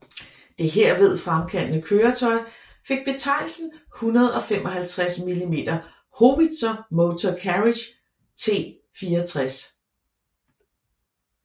Det herved fremkomne køretøj fik betegnelsen 155 mm Howitzer Motor Carriage T64